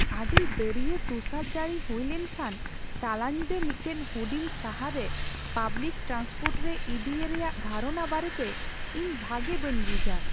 ᱟᱹᱰᱤ ᱫᱟᱹᱨᱭᱟᱹ ᱛᱩᱥᱟᱨᱼᱡᱟᱹᱲᱤ ᱦᱩᱭ ᱞᱮᱱᱠᱷᱟᱱ ᱛᱟᱞᱟ ᱧᱤᱫᱟᱹ ᱢᱤᱫᱴᱟᱝ ᱦᱩᱰᱤᱧ ᱥᱟᱦᱟᱨ ᱨᱮ ᱯᱟᱵᱽᱞᱤᱠ ᱴᱨᱟᱱᱥᱯᱳᱨᱴ ᱨᱮ ᱤᱫᱤ ᱮ ᱨᱮᱭᱟᱜ ᱫᱷᱟᱨᱚᱱᱟ ᱵᱟᱨᱮᱛᱮ ᱤᱧ ᱵᱷᱟᱜᱮ ᱵᱟᱹᱧ ᱵᱩᱡᱷᱼᱟ ᱾